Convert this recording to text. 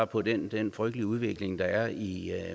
på den den frygtelige udvikling der er i